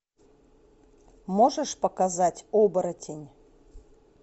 можешь показать оборотень